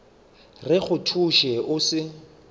re go thuše o se